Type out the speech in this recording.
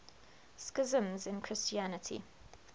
schisms in christianity